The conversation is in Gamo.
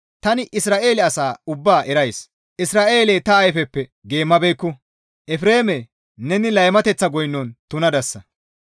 Tani Isra7eele asa ubbaa erays. Isra7eeley ta ayfeppe geemmabeekku; Efreeme, neni laymateththa goynon tunadasa.